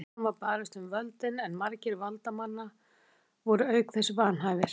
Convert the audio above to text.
Ósjaldan var barist um völdin en margir valdamanna voru auk þess vanhæfir.